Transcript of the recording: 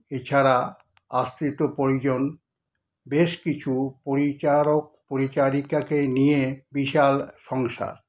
এছাড়া আস্তৃত পরিজন, বেশ কিছু পরিচারক-পরিচারিকাকে নিয়ে বিশাল সংসার।